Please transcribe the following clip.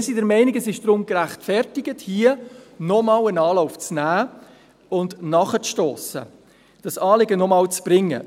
Wir sind der Meinung, es sei deshalb gerechtfertigt, hier nochmals einen Anlauf zu nehmen und nachzustossen, also dieses Anliegen nochmals zu bringen.